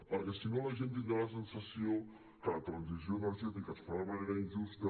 perquè si no la gent tindrà la sensació que la transició energètica es fa de manera injusta